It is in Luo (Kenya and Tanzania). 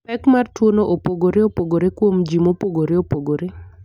Pek mar tuwono opogore opogore kuom ji mopogore opogore.